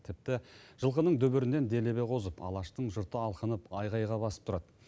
тіпті жылқының дүбірінен делебе қозып алаштың жұрты алқынып айқайға басып тұрады